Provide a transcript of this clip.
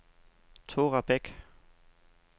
Thora Bech